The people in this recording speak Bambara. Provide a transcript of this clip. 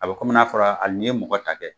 A bɛ komi n'a fɔra hali n'i ye mɔgɔ ta kɛ